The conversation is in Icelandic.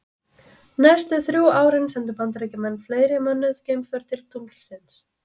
Næstu þrjú árin sendu bandaríkjamenn fleiri mönnuð geimför til tunglsins.